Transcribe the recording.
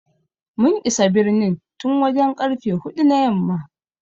We arrived in the city since four o'clock in the evening.